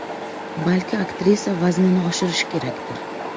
Balki aktrisa vaznini oshirishi kerakdir.